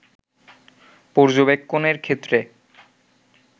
পর্যবেক্ষণের ক্ষেত্রে